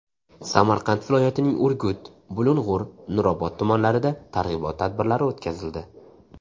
Samarqand viloyatining Urgut, Bulung‘ur, Nurobod tumanlarida targ‘ibot tadbirlari o‘tkazildi.